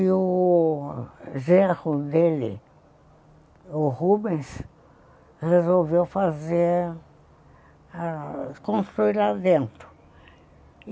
E o gerro dele, o Rubens, resolveu construir lá dentro.